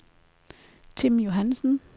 Tim Johannsen